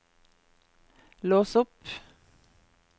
lås opp